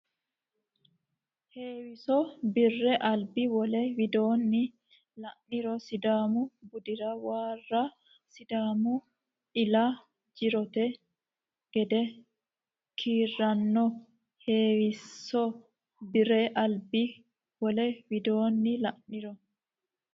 Heewiso Bi re albi Wole widoonni la niro Sidaamu budira waro Sidaamu ila jirote gede kiiranno Heewiso Bi re albi Wole widoonni la niro.